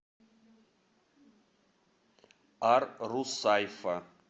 ар русайфа